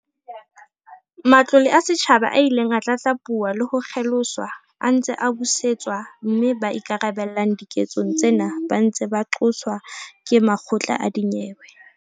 Matlole a setjhaba a ileng a tlatlapuwa le ho kgeloswa a ntse a busetswa mme ba ikarabellang diketsong tsena ba ntse ba qoswa ke makgotla a dinyewe.